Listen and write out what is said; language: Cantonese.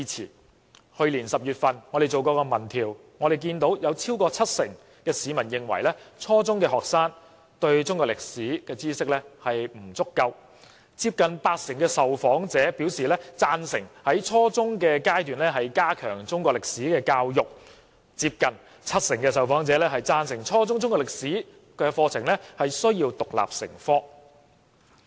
在去年10月，我們曾進行民意調查，有超過七成市民認為初中學生對中國歷史知識不足夠，接近八成受訪者贊成在初中階段加強中國歷史教育，又有接近七成受訪者贊成初中中國歷史課程要獨立成科。